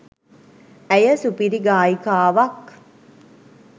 ඇය සුපිරි ගායිකාවක්